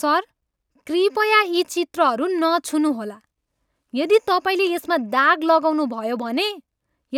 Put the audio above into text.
Sir, कृपया यी चित्रहरू नछुनुहोला! यदि तपाईँले यसमा दाग लगाउनु भयो भने,